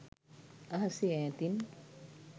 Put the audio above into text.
අහසේ ඈතින්